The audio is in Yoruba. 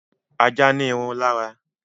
Ajá ní irun lára